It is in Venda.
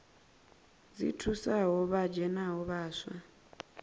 dzi thusaho vha dzhenaho vhaswa